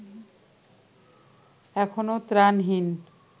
এখনো ত্রাণহীন